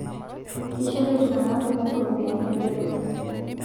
Keishoru iltung'anak kumok ropiyani eretoto